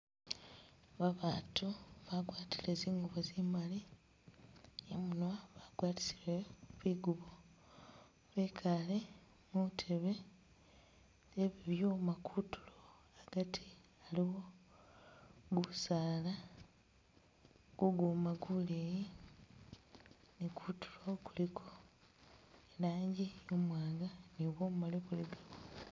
Babatu bagwatile zingubo zimali, imunwa bagwatisile bigubo bekaale muntebe ze bibyuma kutulo agati aliwo busaala , guguma guleyi ni kutulo kuliko ilanji imwanga ne bumali kulikako.